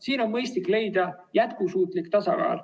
Siin on mõistlik leida jätkusuutlik tasakaal.